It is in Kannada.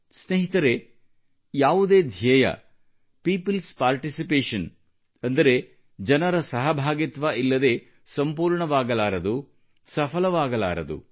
ಸ್ನೇಹಿತರೆ ಯಾವುದೇ ಧ್ಯೇಯ peopleಸ್ ಪಾರ್ಟಿಸಿಪೇಷನ್ ಅಂದರೆ ಜನರ ಸಹಭಾಗಿತ್ವ ಇಲ್ಲದೆ ಸಂಪೂರ್ಣವಾಗಲಾರದು ಸಫಲವಾಗಲಾರದು